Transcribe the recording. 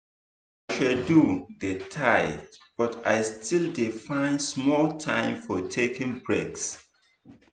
my schedule dey tight but i still dey find small time for taking breaks.